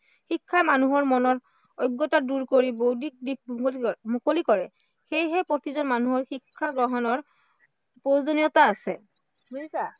শিক্ষাই মানুহৰ মনৰ অজ্ঞতা দূৰ কৰি বৌদ্ধিক দিশ মুকলি কৰে, সেয়েহে প্ৰতিজন মানুহৰ শিক্ষা গ্ৰহণৰ প্ৰয়োজনীয়তা আছে, বুজিছা?